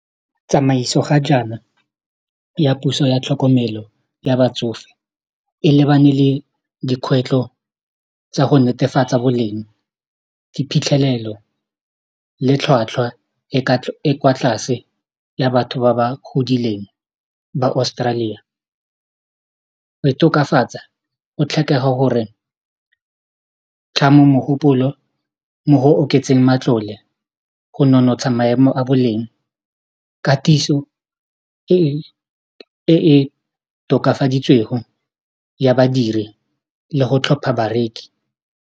Tsamaiso ga jaana ya puso ya tlhokomelo ya batsofe e lebane le dikgwetlho tsa go netefatsa boleng diphitlhelelo le tlhwatlhwa e e kwa tlase ya batho ba ba godileng ba Australia go e tokafatsa go tlhokega gore tlhamo mogopolo mo go oketseng matlole go nonotsha maemo a boleng katiso e e tokafaditsweng ya badiri le go tlhopha bareki.